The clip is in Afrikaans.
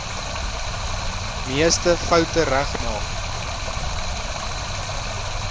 meeste foute regmaak